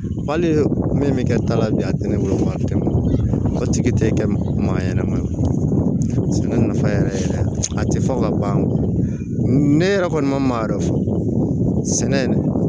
Hali min bɛ kɛ ta la bi a tɛ ne bolo a tɛ malotigi tɛ kɛ mankan yɛrɛ ma sɛnɛ nafa yɛrɛ yɛrɛ a tɛ fɔ ka ban ne yɛrɛ kɔni ma ma yɛrɛ fɔ sɛnɛ